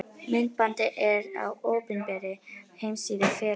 Myndbandið er á opinberri heimasíðu félagsins.